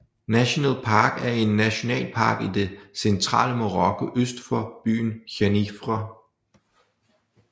Khenifra National Park er en nationalpark i det centrale Marokko øst for byen Khenifra